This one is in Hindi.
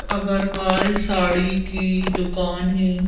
अग्रवाल साड़ी की दुकान है।